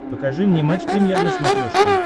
покажи мне матч премьер на смотрешке